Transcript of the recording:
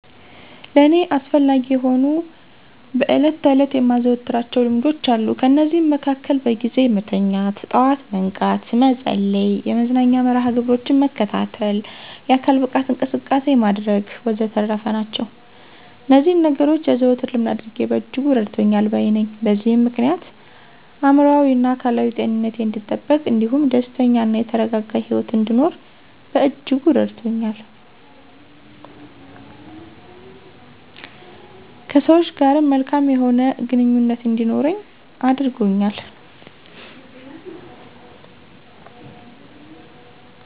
ለእኔ አስፈላጊ የሆኑ በዕለት ተዕለት የማዘወትራቸው ልማዶች አሉ። ከነዚህም መሀከል በጊዜ መተኛት፣ በጠዋት መንቃት፣ መጸለይ፣ የመዝናኛ መርሀ ግብሮችን መከታተል፣ የአካል ብቃት እንቅስቃሴ ማድረግ ወዘተረፈ ናቸው። እነዚህን ነገኖች የዘወትር ልምድ ማድረጌ በእጅጉ እረድቶኛል ባይ ነኘ። በዚህም ምክንያት የአእምሮአዊና አካላዊ ጤንነቴ አንዲጠበቅ እንዲሁም ደስተኛ እና የተረጋጋ ሂወት እንድኖር በእጅጉ አስችሎኛል። ከሰወች ጋርም መልካም የሆነ ግንኙነት እንዲኖረኝ አድርጎኛል።